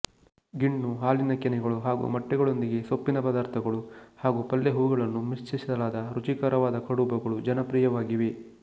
ಗಿಣ್ಣು ಹಾಲಿನ ಕೆನೆಗಳು ಹಾಗೂ ಮೊಟ್ಟೆಗಳೊಂದಿಗೆ ಸೊಪ್ಪಿನ ಪದಾರ್ಥಗಳು ಹಾಗೂ ಪಲ್ಲೆಹೂಗಳನ್ನು ಮಿಶ್ರಿಸಲಾದ ರುಚಿಕರವಾದ ಕಡಬುಗಳು ಜನಪ್ರಿಯವಾಗಿವೆ